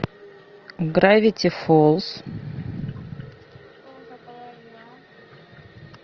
гравити фолз